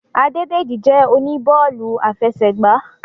Adédèjì jẹ́ oníbọ́ọ̀lù afẹsẹ̀gbá